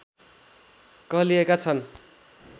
कहलिएका छन्